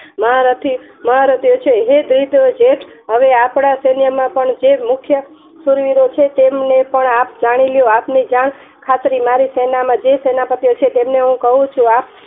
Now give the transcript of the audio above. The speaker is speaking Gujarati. મહારથી મહારથી ઓ છે જે હવે આપડા સૂર્ય માં પણ જે મુખ્ય શુરવીરો છે જે આપ જાણીલો મારી સેનામાં જે સેનાપતિઓ છે તેમને હું કહું છું